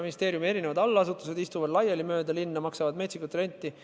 Ministeeriumi allasutused istuvad mööda linna laiali, maksavad samuti metsikut renti.